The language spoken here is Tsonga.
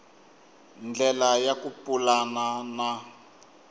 ndlela ya ku pulana na